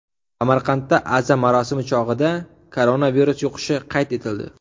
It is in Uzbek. Samarqandda aza marosimi chog‘ida koronavirus yuqishi qayd etildi.